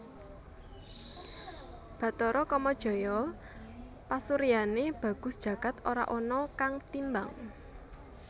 Bathara Kamajaya pasuryané bagus jagad ora ana kang timbang